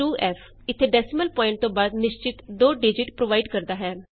1602f ਇਥੇ decimal point ਤੋਂ ਬਾਅਦ ਨਿਸ਼ਚਿਤ ਦੋ ਡਿਜਿਟ ਪ੍ਰੋਵਾਇਡ ਕਰਦਾ ਹੈ